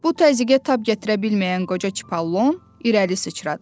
Bu təzyiqə tab gətirə bilməyən qoca Çipallon irəli sıçradı.